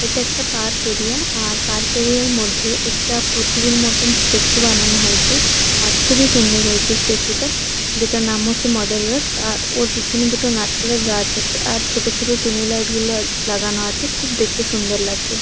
এটা একটা park area আর পার্ক এরিয়া -র মধ্যে একটা প্রতিমার মতন স্ট্যাচু বানানো হয়েছে। আর খুবই সুন্দর হয়েছে স্ট্যাচু -টা যেটার নাম হচ্ছে মাদার আর্থ । আর ওর পিছনে দুটো নারকেলের গাছ আছে আর ছোট ছোট টুনি লাইট -গুলো লাগানো আছে। খুব দেখতে সুন্দর লাগছে ।